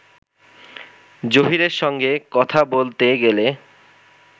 জহীরের সঙ্গে কথা বলতে গেলে